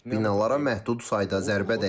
Binalara məhdud sayda zərbə dəyib.